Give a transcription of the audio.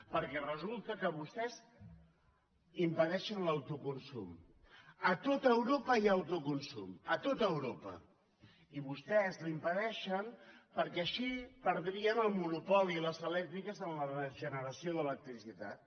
perquè resulta que vostès impedeixen l’autoconsum a tot europa hi ha autoconsum a tot europa i vostès l’impedeixen perquè així perdrien el monopoli les elèctriques en la generació d’electricitat